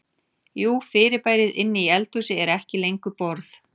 Jú fyrirbærið inni í eldhúsi er ekki lengur borð.